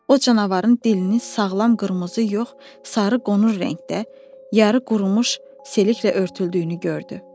O canavarın dilinin sağlam qırmızı yox, sarı qonur rəngdə, yarı qurumuş seliklə örtüldüyünü gördü.